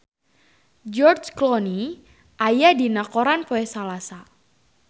George Clooney aya dina koran poe Salasa